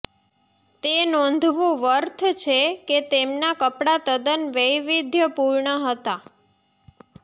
તે નોંધવું વર્થ છે કે તેમના કપડા તદ્દન વૈવિધ્યપુર્ણ હતા